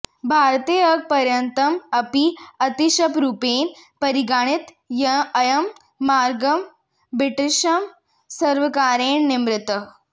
भारते अद्यपर्यन्तम् अपि अतिशयरूपेन परिगणितः अयं मार्गः ब्रिटिश् सर्वकारेण निर्मितः